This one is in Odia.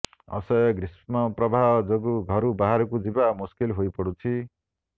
ଅସହ୍ୟ ଗ୍ରୀଷ୍ମ ପ୍ରବାହ ଯୋଗୁଁ ଘରୁ ବାହାରକୁ ଯିବା ମୁସ୍କିଲ ହୋଇପଡୁଛି